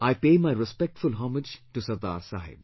I pay my respectful homage to Sardar Saheb